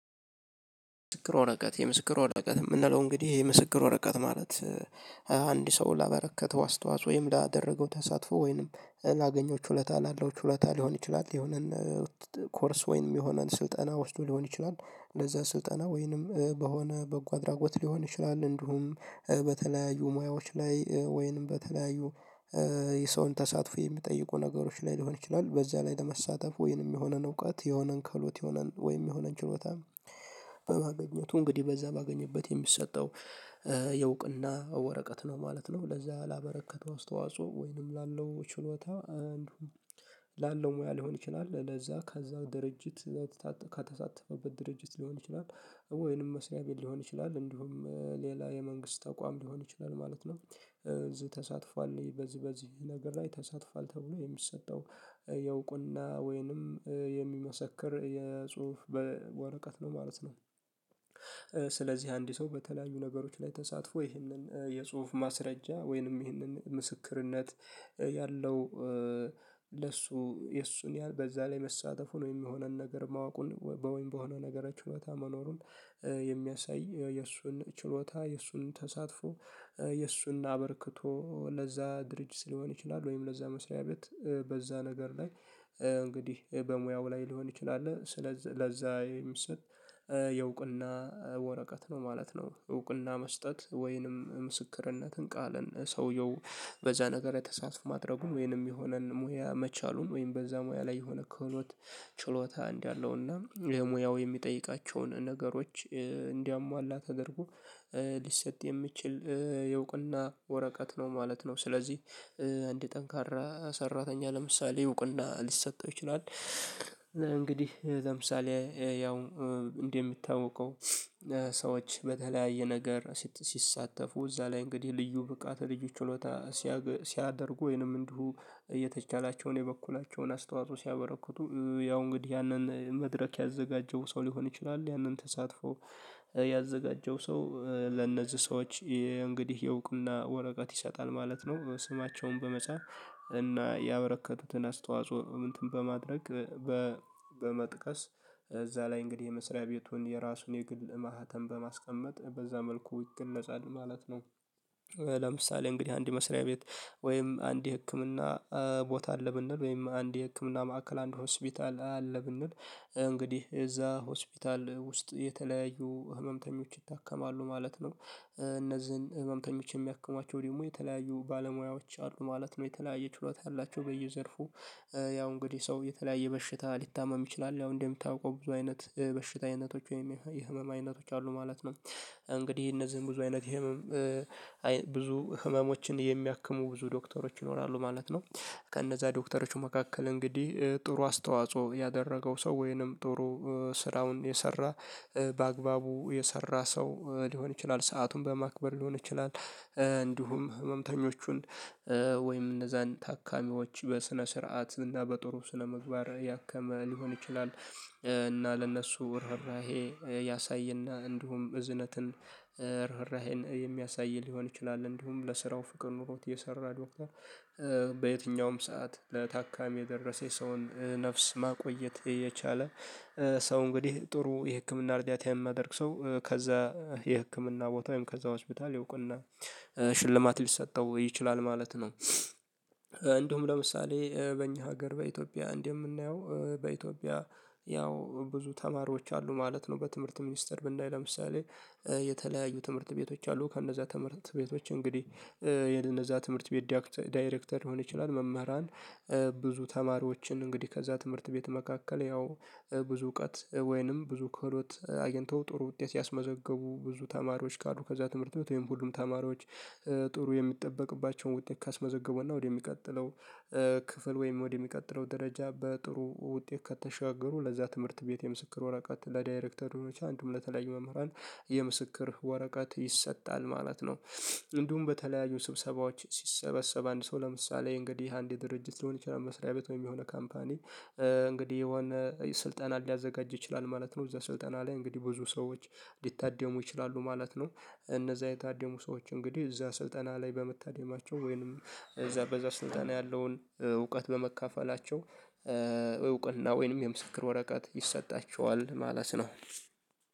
ምስክር ወረቀት የምስክር ወረቀት የምንለው እንግዲህ የምስክር ወረቀት ማለት አንድ ሰው ላበረከተው አስተዋጽኦ ወይም ላደረገው ተሳትፎ ወይንም ላገኘው ችሎታ ላለው ችሎታ ሊሆን ይችላል፤ የሆነን ኮርስ ወይንም የሆነን ስልጠና ወስዶ ሊሆን ይችላል፤ ለዛ ስልጠና ወይንም በሆነ በጎ አድራጎት ሊሆን ይችላል፤ እንዲሁም በተለያዩ ሙያዎች ላይ ወይንም በተለያዩ የሰውን ተሳትፎ የሚጠይቁ ነገሮች ላይ ሊሆን ይችላል፤ በዛ ላይ ለመሳተፍ ወይንም የሆነን እውቀት የሆነን ከህሎት የሆነን ወይም የሆነን ችሎታ በማግኘቱ እንግዲህ በዛ ባገኘበት የሚሰጠው የውቅና ወረቀት ነው ማለት ነው። ለዛ ላበረከተው አስተዋጽኦ ወይንም ላለው ችሎታ አንዱ ላለው ሙያ ሊሆን ይችላል ለዛ ከዛ ድርጅት ከተሳተፈበት ድርጅት ሊሆን ይችላል ወይንም መስሪያ ቤት ሊሆን ይችላል እንዲሁም ሌላ የመንግስት ተቋም ሊሆን ይችላል ማለት ነው። ተሳትፏል በዚህ በዚህ ነገር ላይ ተሳትፏል ተብሎ የሚሰጠው የእውቅና ወይንም የሚመሰክር የጽሁፍ ወረቀት ነው ማለት ነው። ስለዚህ አንድ ሰው በተለያዩ ነገሮች ላይ ተሳትፎ ይህንን የጽሁፍ ማስረጃ ወይንም ይህንን ምስክርነት ያለው ለሱ የሱን ያህል በዛ ላይ መሳተፉን ወይም የሆነን ነገር ማወቁን በወይም በሆነ ነገር ችሎታ መኖሩን የሚያሳይ የእሱን ችሎታ የእሱን ተሳትፎ የእሱን አበርክቶ ለዛ ድርጅት ሊሆን ይችላል ወይም ለዛ መስሪያ ቤት በዛ ነገር ላይ እንግዲህ በሙያው ላይ ሊሆን ይችላል ስለዛ ለዛ የሚሰጥ የእውቅና ወረቀት ነው ማለት ነው። የእውቅና መስጠት ወይንም ምስክርነትን ቃልን ሰውየው በዛ ነገር ላይ ተሳትፎ ማድረጉን ወይንም የሆነን ሙያ መቻሉን ወይም በዛ ሙያ ላይ የሆነ ክህሎት ችሎታ እንዳለው እና ሙያው የሚጠይቃቸውን ነገሮች እንዲያሟላ ተደርጎ ሊሰጥ የሚችል የውቅና ወረቀት ነው ማለት ነው። ስለዚህ አንድ ጠንካራ ሰራተኛ ለምሳሌ እውቅና ሊሰጠው ይችላል። እንግዲህ ለምሳሌ ያው እንደሚታውቀው ሰዎች በተለያየ ነገር ሲሳተፉ እዛ ላይ እንግዲህ ልዩ ብቃት ልዩ ችሎታ ሲያደርጉ ወይንም እንዲሁ እየተቻላቸውን የበኩላቸውን አስተዋጽኦ ሲያበረክቱ ያው እንግዲህ ያንን መድረክ ያዘጋጀው ሰው ሊሆን ይችላል ያንን ተሳትፎ ያዘጋጀው ሰው ለእነዚህ ሰዎች እንግዲህ የእውቅና ወረቀት ይሰጣል ማለት ነው። ስማቸውን በመጻፍ እና ያበረከተትን አስተዋጽኦ እንትን በማድረግ በመጥቀስ እዛ ላይ እንግዲህ የመስሪያ ቤቱን የራሱን የግል ማህተም በማስቀመጥ በዛ መልኩ ይገለጻል ማለት ነው። ለምሳሌ እንግዲህ አንድ መስሪያ ቤት ወይም አንድ ህክምና ቦታ አለ ብንል ወይም አንድ ህክምና ማዕከል አንድ ሆስፒታል አለ ብንል እንግዲህ እዛ ሆስፒታል ውስጥ የተለያዩ ህመምተኞች ይታከማሉ ማለት ነው። እነዚህን ህመምተኞች የሚያክማቸው ደግሞ የተለያዩ ባለሙያዎች አሉ ማለት ነው። የተለያየ ችሎታ ያላቸው በየዘርፉ ያው እንግዲህ ሰው የተለያየ በሽታ ሊታመም ይችላል። ያው እንደሚታውቀው ብዙ አይነት በሽታ አይነቶች ወይም የህመም አይነቶች ማለት ነው። እንግዲህ እነዚህን ብዙ አይነት የህመም ብዙ ህመሞችን የሚያክሙ ብዙ ዶክተሮች ይኖራሉ ማለት ነው። ከነዛ ዶክተሮቹ መካከል እንግዲህ ጥሩ አስተዋጽኦ ያደረገው ሰው ወይንም ጥሩ ስራውን የሰራ በአግባቡ የሰራ ሰው ሊሆን ይችላል ሰአቱን በማክበር ሊሆን ይችላል እንዲሁም ህመምተኞቹን ወይም እነዛን ታካሚዎች በስነ ስርዓት እና በጥሩ ስነ ምግባር ያከመ ሊሆን ይችላል፤ እና ለነሱ ርህራሄ ያሳየና እንዲሁም እዝነትን ርህራሄን የሚያሳይ ሊሆን ይችላል። እንዲሁም ለስራው ፍቅር ኖሮት የሰራ ዶክተር በየትኛውም ሰዓት ለታካሚ የደረሰ የሰውን ነፍስ ማቆየት የቻለ ሰው እንግዲህ ጥሩ የህክምና እርዳታ የማደርግ ሰው ከዛ የህክምና ቦታ ወይም ከዛ ሆስፒታል የእወቅና ሽልማት ሊሰጠው ይችላል ማለት ነው። እንዲሁም ለምሳሌ በእኛ ሀገር በኢትዮጵያ እንደምናየው በኢትዮጵያ ያው ብዙ ተማሪዎች አሉ ማለት ነው። በትምህርት ሚኒስተር ብንይ ለምሳሌ የተለያዩ ትምህርት ቤቶች አሉ። ከእነዛ ትምህርት ቤቶች እንግዲህ የነዛ ትምህርት ቤት ዳይሬክተር ሊሆን ይችላል መምህራን ብዙ ተማሪዎችን እንግዲህ ከዛ ትምህርት ቤት መካከል ያው ብዙ እውቀት ወይንም ብዙ ከህሎት አግኝተው ጥሩ ውጤት ያስመዘገቡ ብዙ ተማሪዎች ካሉ ከዛ ትምህርት ቤት ወይም ሁሉም ተማሪዎች ጥሩ የሚጠበቅባቸውን ውጤት ካስመዘገቡውና ወደሚቀጥለው ክፍል ወይም ወደሚቀጥለው ደረጃ በጥሩ ውጤት ከተሻገሩ ለዛ ትምህርት ቤት የምስክር ወረቀት ለዳይሬክተሮች እንዲሁም ለተለያዩ መምህራን የምስክር ወረቀት ይሰጣል ማለት ነው። እንዲሁም በተለያዩ ስብሰባዎች ሲሰበሰብ አንድ ሰው ለምሳሌ እንግዲህ አንድ የድርጅት ሊሆን ይችላል መስሪያ ቤት ወይም የሆነ ካምፓኒ እንግዲህ የሆነ ስልጠና ሊያዘጋጅ ይችላል ማለት ነው። እዛ ስልጠና ላይ እንግዲህ ብዙ ሰዎች ሊታደሙ ይችላሉ ማለት ነው። እነዛ የታደሙ ሰዎች እንግዲህ እዛ ስልጠና ላይ በመታደማቸው ወይንም እዛ በዛ ስልጠና ያለውን እውቀት በመካፈላቸው እውቅና እና ወይንም የምስክር ወረቀት ይሰጣቸዋል ማለት ነው።